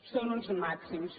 són uns mà·xims